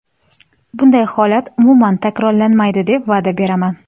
Bunday holat umuman takrorlanmaydi deb va’da beraman.